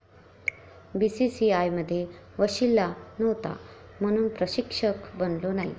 बीसीसीआयमध्ये वशिला नव्हता, म्हणून प्रशिक्षक बनलो नाही'